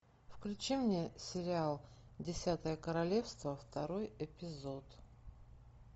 включи мне сериал десятое королевство второй эпизод